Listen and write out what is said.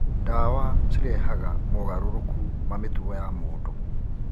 Ndawa cirehaga mogarũrũku ma mĩtugo ya mũndũ.